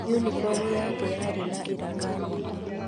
Unibomu yake yarĩ na iraka nyingĩ.